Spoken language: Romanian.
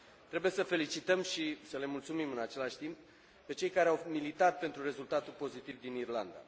Trebuie să felicităm, și să le mulțumim în același timp, pe cei care au militat pentru rezultatul pozitiv din Irlanda.